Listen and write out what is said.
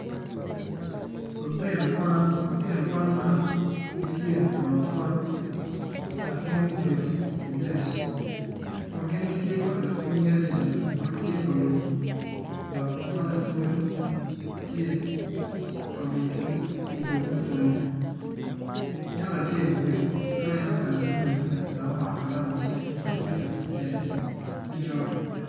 Lutino Kwan lutino Kwan man gitye i ot Kwan dok gin gubedo i Dec dok gin gitye ka keto cwinygi adada ma gitye ka winyo lok ma lapwony tye ka minigi i to me pwonnye nyako acel obedo ka en oketo buk inyime dok omako Kalam I cinge ma tye ka tic kwede me coc.